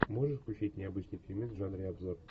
можешь включить необычный фильмец в жанре обзор